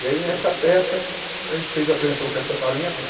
E aí, nessa peça, a gente fez apresentou o Caça-Talentos.